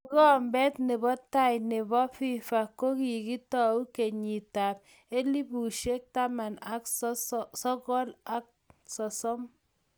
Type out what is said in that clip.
Kikombet ne bo tai ne bo FIFA ko kikitou kenyit ab 1930.